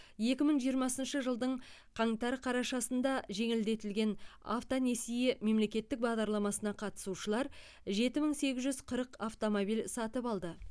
екі мың жиырмасыншы жылдың қаңтар қарашасында жеңілдетілген автонесие мемлекеттік бағдарламасына қатысушылар жеті мың сегіз жүз қырық автомобиль сатып алды